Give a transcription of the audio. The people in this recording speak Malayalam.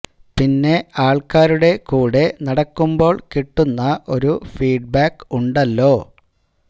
പിന്നെ ആള്ക്കാരുടെ കൂടെ നടക്കുമ്പോള് കിട്ടുന്ന ഒരു ഫീഡ് ബാക് ഉണ്ടല്ലോ